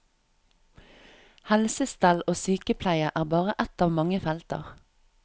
Helsestell og sykepleie er bare ett av mange felter.